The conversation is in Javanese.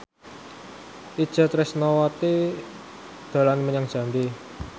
Itje Tresnawati dolan menyang Jambi